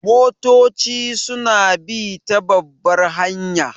Motoci su na bi ta babbar hanya